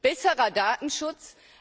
Besserer Datenschutz?